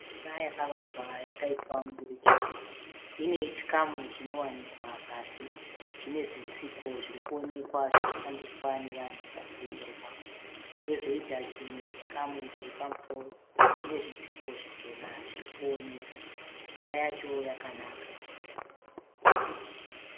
Imba yakavakwa yakaitwa mudurikidzwa. Ine chikamu chinowanikwa pasi, chine zvitsiko zvirikuonekwa zvinoshandiswa nevanhu vachienda ipapo. Yozoita chimwe chikamu chiripamusoro, chine zvitsiko zvichena zvirikuoneka. Imba yacho yakanaka.